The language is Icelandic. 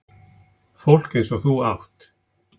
Fólk eins og þú átt